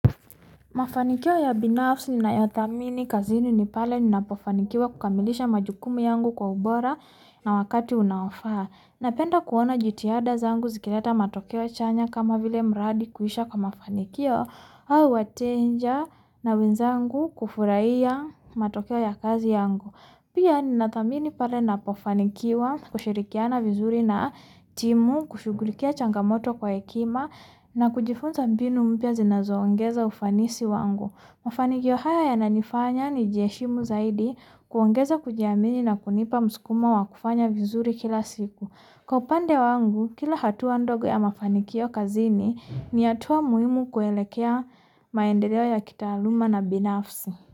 Mafanikio ya binafsi ninayothamini kazini ni pale ninapofanikiwa kukamilisha majukumu yangu kwa ubora na wakati unaofaa Napenda kuona jitihada zangu zikileta matokeo chanya kama vile mradi kuisha kwa mafanikio au wateja na wenzangu kufurahia matokeo ya kazi yangu. Pia ninathamini pale ninapofanikiwa kushirikiana vizuri na timu kushughulikia changamoto kwa hekima na kujifunza mbinu mpya zinazoongeza ufanisi wangu. Mafanikio haya yananifanya nijiheshimu zaidi, kuongeza kujiamini na kunipa msukumo wa kufanya vizuri kila siku. Kwa upande wangu kila hatua ndogo ya mafanikio kazini ni hatua muhimu kuelekea maendeleo ya kitaaluma na binafsi.